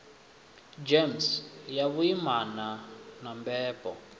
gems ya vhuimana na mbebo